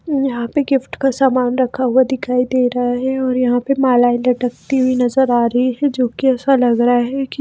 यहां पे गिफ्ट का सामान रखा हुआ दिखाई दे रहा है और यहां पे मालाएं लटकती हुई नजर आ रही है जो कि ऐसा लग रहा है कि--